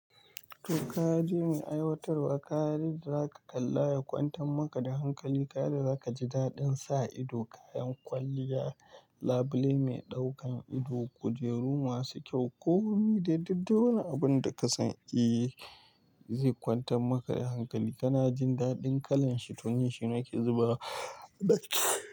To ka je mai aiwatarwa, ka yi daka kalla ya kwantan maka da hankali. Kada za ka ji daɗin sa ido kayan kwalliya, labule mai ɗaukan ido, kujeru masu kyau. Kowane daidai wani abun da ka san eh zai kwantan maka da hankali. Kana jin daɗin kalan shi tun yaushe nake zuba ɗaki.